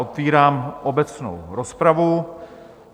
Otvírám obecnou rozpravu.